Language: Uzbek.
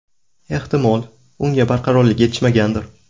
Ehtimol, unga barqarorlik yetishmagandir.